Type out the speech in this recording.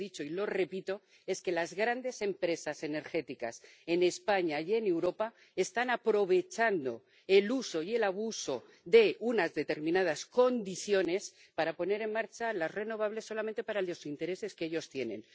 Lo que he dicho —y lo repito— es que las grandes empresas energéticas en España y en Europa están aprovechando el uso y el abuso de unas determinadas condiciones para poner en marcha las renovables solamente para los intereses que ellos tienen.